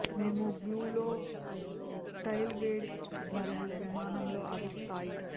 మేము గ్లూ లో టైల్ వేడి మరియు విమానం లో అది స్థాయి